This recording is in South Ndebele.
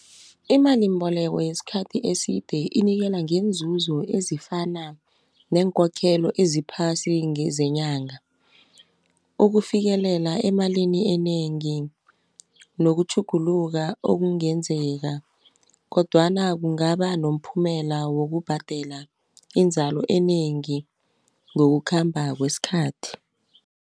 Imalimbolekwa yesikhathi eside inikela ngeenzuzo ezifana neenkokhelo eziphasi ngezenyanga ukufikelela emalini enengi, nokutjhugulula okungenzeka kodwana, kungaba nomphumela wokubhadela inzalo enengi ngokukhamba kwesikhathi.